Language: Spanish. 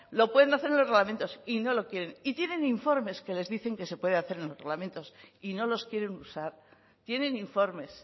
lo pueden hacer en los reglamentos y no lo quieren y tienen informes que les dicen que se puede hacer en los reglamentos y no los quieren usar tienen informes